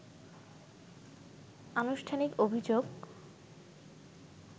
আনুষ্ঠানিক অভিযোগ